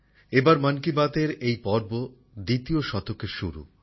এবার মন কি বাতএর এই পর্ব দ্বিতীয় শতকের শুরু